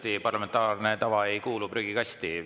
Kindlasti parlamentaarne tava ei kuulu prügikasti.